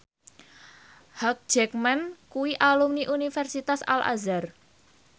Hugh Jackman kuwi alumni Universitas Al Azhar